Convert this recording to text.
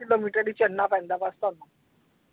Kilometer ਹੀ ਚੜਣਾ ਪੈਂਦਾ ਬਸ ਤੁਹਾਨੂੰ।